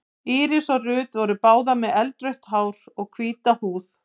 Íris og Ruth voru báðar með eldrautt hár og hvíta húð.